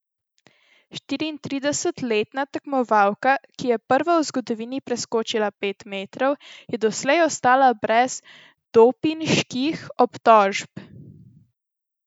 Štiriintridesetletna tekmovalka, ki je prva v zgodovini preskočila pet metrov, je doslej ostala brez dopinških obtožb.